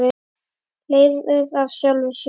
Leiðir af sjálfu sér!